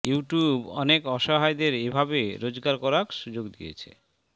YouTube অনেক অসহায়দের এভাবে রোজগার করার সুযোগ করে দিয়েছে